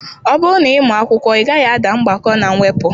Ọ bụrụ na ị mụọ akwụkwọ, ị gaghị ada mgbakọ na mwepụ